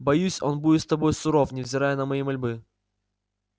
боюсь он будет с тобой суров невзирая на мои мольбы